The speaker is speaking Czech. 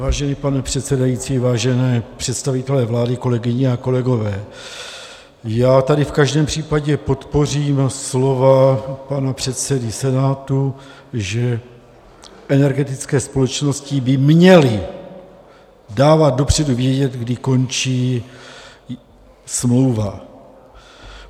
Vážený pane předsedající, vážení představitelé vlády, kolegyně a kolegové, já tady v každém případě podpořím slova pana předsedy Senátu, že energetické společnosti by měly dávat dopředu vědět, kdy končí smlouva.